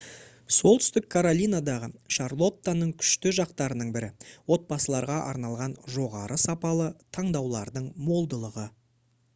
солтүстік каролинадағы шарлоттаның күшті жақтарының бірі отбасыларға арналған жоғары сапалы таңдаулардың молдығы